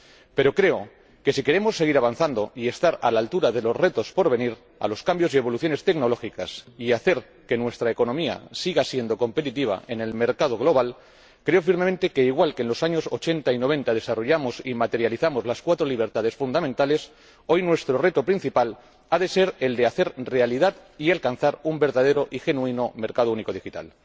Pero, si queremos seguir avanzando y estar a la altura de los retos por venir, de los cambios y evoluciones tecnológicas, y hacer que nuestra economía siga siendo competitiva en el mercado global, creo firmemente que, al igual que en los años ochenta y noventa desarrollamos y materializamos las cuatro libertades fundamentales, hoy nuestro reto principal ha de ser el de hacer realidad y alcanzar un verdadero y genuino mercado único digital.